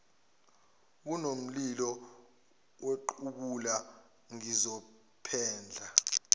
kunomlilo wequbula ngizophendla